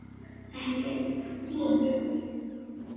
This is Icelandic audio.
Ekki vín?